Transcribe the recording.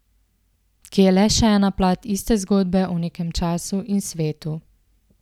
Ki je le še ena plat iste zgodbe o nekem času in svetu.